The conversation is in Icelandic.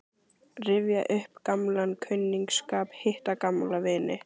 Rifja upp gamlan kunningsskap, hitta gamla vini.